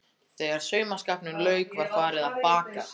Þegar saumaskapnum lauk var farið að baka.